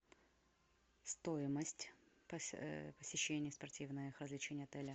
стоимость посещения спортивных развлечений отеля